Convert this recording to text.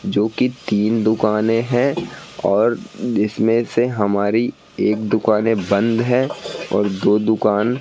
जोकि तीन दुकानें हैं और जिसमें से हमारी एक दुकाने बंद है और दो दुकान --